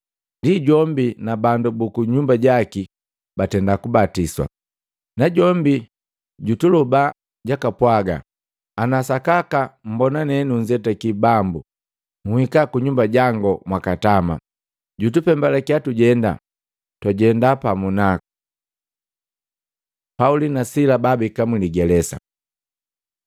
Ndi jombi na bandu buku nyumba jaki batenda kubatiswa. Najombi jutuloba jakapwaga, “Ana sakaka mmbona ne nunzetaki Bambu, nhika ku nyumba jangu mwaka tama” Jutupembalakiya tujenda, twajenda pamu naku. Pauli na Sila baabeka muligelesa